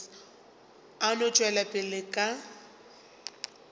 a no tšwela pele ka